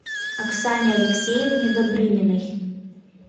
оксане алексеевне добрыниной